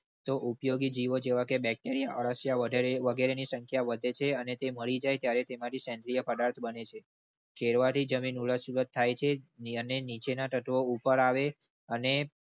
તો ઉપયોગ જીવો જેવા કે bacteria અરશિયા વગેરે વગેરેની સંખ્યા વધે છે અને તે મળી જાય તે માટે સેન્દ્રિય પદાર્થ બને છે. ખેડવા થી જમીન ઉલટ સુલટ થાય છે અને નીચેના તત્વો ઉપર આવે અને.